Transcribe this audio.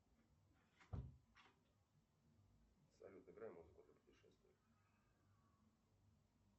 салют играй музыку для путешествия